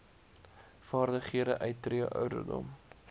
vaardighede uittree ouderdom